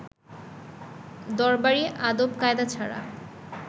দরবারী আদব-কায়দা ছাড়া